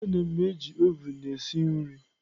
Ana m eji oven esi nri.